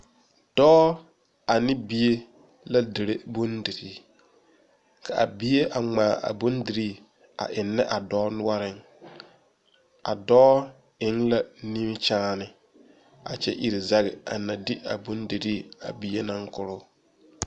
Dɔɔ ane bie la dire bondire, kaa bie a ŋmaa a bondire a eŋe a ba nore ,a dɔɔ eŋ la nimikyaane, a kyɛ iri zaŋ a ne di a bondire a bie naŋ kɔro.